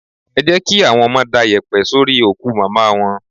Ẹ jẹ́ kí àwọn ọmọ da yèpẹ̀ sórí òkú Màmá wọn.